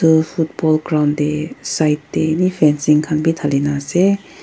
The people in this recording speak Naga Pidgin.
tu football ground teh side teh eni fencing khan bi thalina ase.